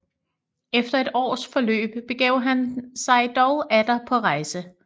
Efter et års forløb begav han sig dog atter på rejser